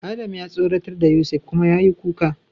Adam ya tsoratar da Yusuf kuma yayi kuka.